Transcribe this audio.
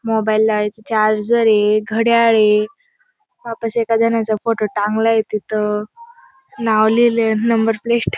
mobile लावायचं charger आहे घड्याळ आहे वापस एका जनाचा फोटो टांगला आहे तिथं नाव लिहिले आहे नंबर प्लेट --